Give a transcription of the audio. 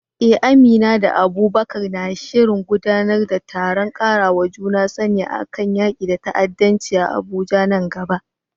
Eh, Amina da Abubakar na shirin gudanar da taron ƙarawa juna sani kan yaƙi da ta’addanci a Abuja nan gaba.